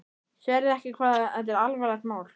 Sérðu ekki hvað þetta er alvarlegt mál?